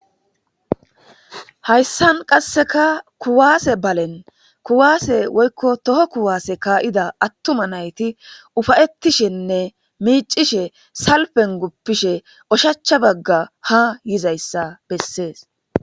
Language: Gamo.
Hayssan qasseka kuwaase balen kuwaase woykko toho kuwaase kaa'ida attuma nayti ufayettishenne miicishe salpen guppishe ushacha bagga ha yiza issa bessees.